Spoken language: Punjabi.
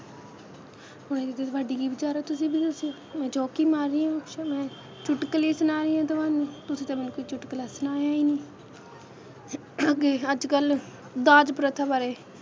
ਹੁਣ ਇਹਦੇ 'ਤੇ ਤੁਹਾਡੇ ਕੀ ਵਿਚਾਰ ਆ ਤੁਸੀ ਵੀ ਦੱਸੋ ਮੈ joke ਹੀ ਮਾਰ ਰੀ ਆ ਮੈ ਚੁਟਕੁਲੇ ਸੁਣਾ ਰਹੀ ਹਾਂ ਤੁਹਾਨੂੰ ਤੁਸੀਂ ਤਾਂ ਮੈਨੂੰ ਕੋਈ ਚੁਟਕੁਲਾ ਸੁਣਾਇਆ ਈ ਨਹੀਂ ਅੱਗੇ ਅੱਜ ਕੱਲ ਦਾਜ ਪ੍ਰਥਾ ਬਾਰੇ,